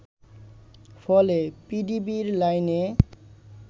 ফলে পিডিবির লাইনে